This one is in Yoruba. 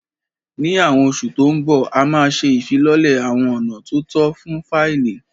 Ní Awon oṣù tó ń bọ̀, a máa ṣe ìfilọ́lẹ̀ àwọn ọ̀nà tó tọ́ fún fáìlì